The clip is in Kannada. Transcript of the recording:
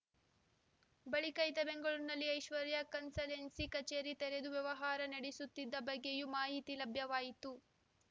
ಬಳಿಕ ಈತ ಬೆಂಗಳೂರಿನಲ್ಲಿ ಐಶ್ವರ್ಯ ಕನ್ಸಲ್ಟೆನ್ಸಿ ಕಚೇರಿ ತೆರೆದು ವ್ಯವಹಾರ ನಡೆಸುತ್ತಿದ್ದ ಬಗ್ಗೆಯೂ ಮಾಹಿತಿ ಲಭ್ಯವಾಯಿತು